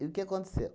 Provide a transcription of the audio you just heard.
E o que aconteceu?